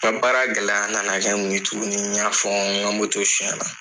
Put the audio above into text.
Kuran baara gɛlɛya nana mun ye tuguni n y'a fɔ , n ka moto sonyɛ na.